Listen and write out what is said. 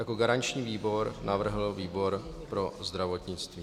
Jako garanční výbor navrhl výbor pro zdravotnictví.